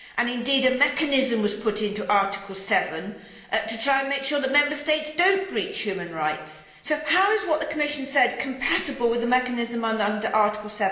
Indeed, a mechanism was put into Article 7 to try to make sure that Member States do not breach human rights, so how is what the Commission said compatible with the mechanism under Article